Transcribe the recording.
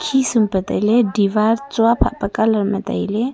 khisum pa tailey diwar phatpa colour ma tailey.